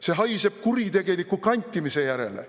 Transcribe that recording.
See haiseb kuritegeliku kantimise järele.